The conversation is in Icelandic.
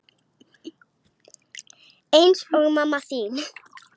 Eins og mamma þín.